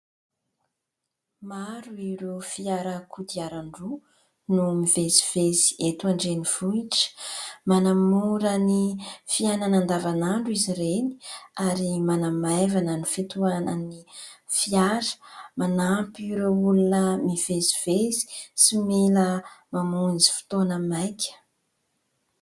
Maro ireo fiara kodiarandroa no mivezIvezy eto andrenivohitra. Manamora ny fiainana andavanandro izy ireny ary manamaivana ny fitohanan'ny fiara. Manampy ireo olona mivezivezy sy mila mamonjy fotoana maika.